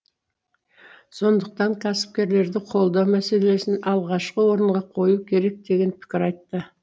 сондықтан кәсіпкерлерді қолдау мәселесін алғашқы орынға қою керек деген пікір айтты